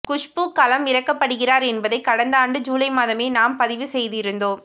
குஷ்பு களம் இறக்கப்படுகிறார் என்பதை கடந்த ஆண்டு ஜூலை மாதமே நாம் பதிவு செய்திருந்தோம்